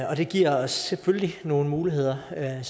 og det giver os selvfølgelig nogle muligheder og jeg